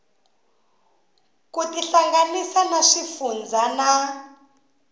ku tihlanganisa na xifundzha na